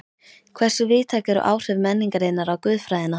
Hversu víðtæk eru áhrif menningarinnar á guðfræðina?